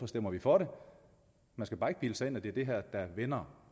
stemmer vi for det man skal bare ikke bilde sig ind at det er det her der vender